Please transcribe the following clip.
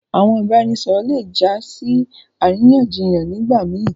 Àwọn ìbàràẹ̀nisọ̀rọ̀ lẹ jà sí aráyànṣíyàn nígbà mí.